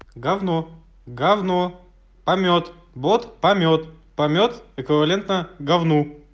говно говно помет вот помет помет эквивалентна говну